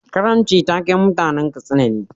Karanci taken mutanan Katsina ne.